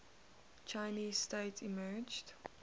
chinese state emerged